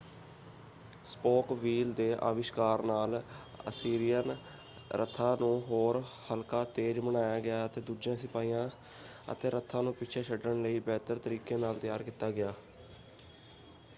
Spoke wheel ਦੇ ਆਵਿਸ਼ਕਾਰ ਨਾਲ ਅਸੀਰੀਅਨ ਰਥਾਂ ਨੂੰ ਹੋਰ ਹਲਕਾ ਤੇਜ਼ ਬਣਾਇਆ ਗਿਆ ਅਤੇ ਦੂਜੇ ਸਿਪਾਹੀਆਂ ਅਤੇ ਰਥਾਂ ਨੂੰ ਪਿੱਛੇ ਛੱਡਣ ਲਈ ਬਿਹਤਰ ਤਰੀਕੇ ਨਾਲ ਤਿਆਰ ਕੀਤਾ ਗਿਆ।